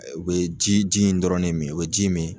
U be ji ji in dɔrɔn de min, u be ji min